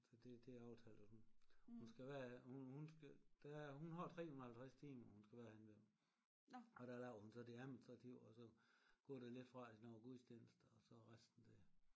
Så det det er aftalt at hun hun skal være hun hun skal være der er hun har 350 timer hun skal være henne ved mig og der laver hun så det administrative og så går der lidt fra til nogle gudstjenester og så resten det